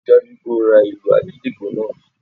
Rí i dájú o pé o ra ìlù àgídìgbo náà!